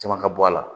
Caman ka bɔ a la